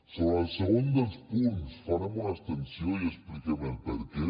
sobre el segon dels punts farem una abstenció i expliquem el perquè